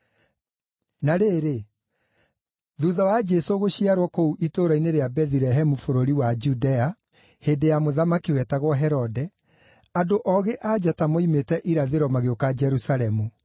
Na rĩrĩ, thuutha wa Jesũ gũciarwo kũu itũũra-inĩ rĩa Bethilehemu bũrũri wa Judea, hĩndĩ ya mũthamaki wetagwo Herode, andũ Oogĩ-a-Njata moimĩte irathĩro magĩũka Jerusalemu,